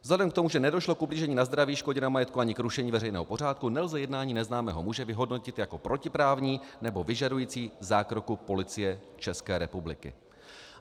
Vzhledem k tomu, že nedošlo k ublížení na zdraví, škodě na majetku ani k rušení veřejného pořádku, nelze jednání neznámého muže vyhodnotit jako protiprávní nebo vyžadující zákroku Policie České republiky."